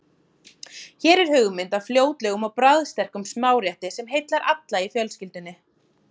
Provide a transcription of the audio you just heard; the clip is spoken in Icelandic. Hér er hugmynd að fljótlegum og bragðsterkum smárétti sem heillar alla í fjölskyldunni.